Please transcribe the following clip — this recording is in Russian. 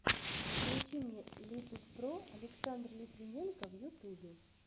включи мне литуспро александр литвиненко в ютубе